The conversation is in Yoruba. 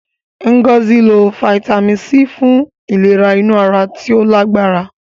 Ngozi lo Fítámìnì C fun ìlera inú ara tí ó lágbára.